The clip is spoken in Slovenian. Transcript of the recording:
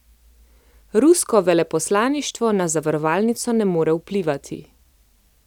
Rusko veleposlaništvo na zavarovalnico ne more vplivati.